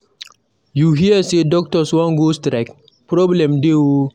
You hear say doctors wan go strike? Problem dey oo